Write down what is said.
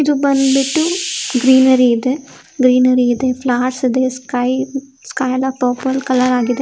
ಇದು ಬಂದ್ಬಿಟ್ಟು ಗ್ರೀನೆರಿ ಇದೆ. ಗ್ರೀನೆರಿ ಇದೆ .ಫ್ಲವರ್ಸ್ ಇದೆ ಸ್ಕೈ ಎಲ್ಲ ಪರ್ಪಲ್ ಕಲರ್ ಆಗಿದೆ .